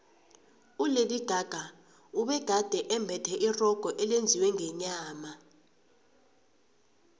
ulady gaga ubegade embethe irogo elenziwe ngenyama